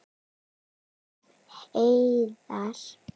Ef. heiðar